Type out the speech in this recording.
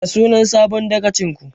Ya sunan sabon dagacin ku?